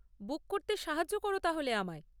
বুক করতে সাহায্য করো তাহলে আমায়।